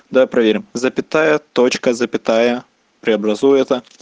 давай проверим запятая точка запятая преобразуй это